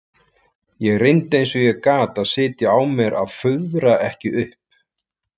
Ég reyndi eins og ég gat að sitja á mér að fuðra ekki upp.